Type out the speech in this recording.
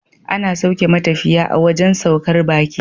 Ana sauke matafiya a wajan saukar baki